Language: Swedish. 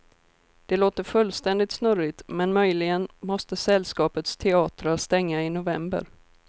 Det låter fullständigt snurrigt, men möjligen måste sällskapets teatrar stänga i november.